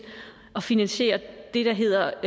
at finansiere det der hedder